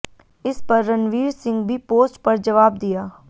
इस पर रणवीर सिंह भी पोस्ट पर जवाब दिया